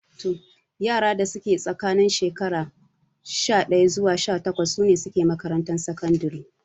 Yara da suke tsakanin shekaru sha ɗaya zuwa sha takwas sune suke makarantar sakandare